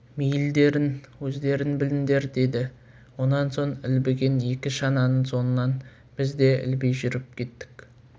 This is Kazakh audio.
мейілдерің өздерің біліңдер деді онан соң ілбіген екі шананың соңынан біз де ілби жүріп кеттік